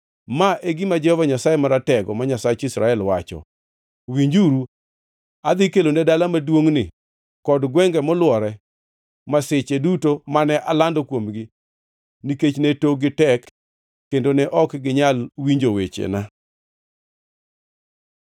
“Ma e gima Jehova Nyasaye Maratego, ma Nyasach Israel, wacho: ‘Winjuru! Adhi kelone dala maduongʼni kod gwenge molwore masiche duto mane alando kuomgi, nikech ne tokgi tek ta kendo ne ok ginyal winjo wechena.’ ”